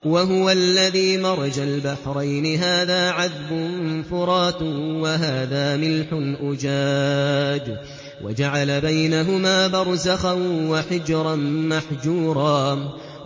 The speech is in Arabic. ۞ وَهُوَ الَّذِي مَرَجَ الْبَحْرَيْنِ هَٰذَا عَذْبٌ فُرَاتٌ وَهَٰذَا مِلْحٌ أُجَاجٌ وَجَعَلَ بَيْنَهُمَا بَرْزَخًا وَحِجْرًا مَّحْجُورًا